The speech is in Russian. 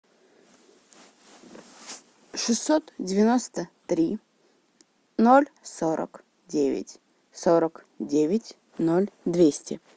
шестьсот девяносто три ноль сорок девять сорок девять ноль двести